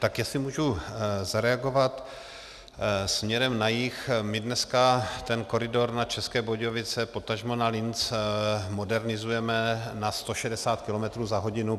Tak jestli můžu zareagovat, směrem na jih, my dneska ten koridor na České Budějovice, potažmo na Linec, modernizujeme na 160 km za hodinu.